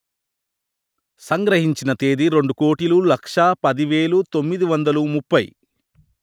సంగ్రహించిన తేదీ రెండు కోటిలు లక్ష పది వెలు తొమ్మిది వందలు ముప్పై